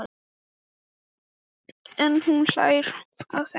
En hún bara hlær að þeim, kallar þá jólasveina.